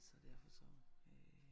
Så derfor så øh